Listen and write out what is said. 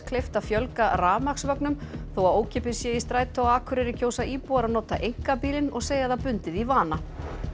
kleift að fjölga þó að ókeypis sé í strætó á Akureyri kjósa íbúar að nota einkabílinn og segja það bundið í vana